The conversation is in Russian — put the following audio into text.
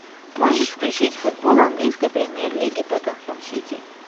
можешь включить футбол английской премьер лиги тоттенхэм сити